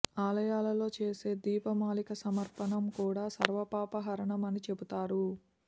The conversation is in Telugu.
ఆలయాలలో చేసే దీపమాలిక సమర్పణం కూడా సర్వపాప హరణం అని చెబుతారు